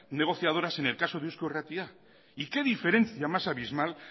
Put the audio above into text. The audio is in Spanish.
negociadoras en el caso de eusko irratia y qué diferencia más abismal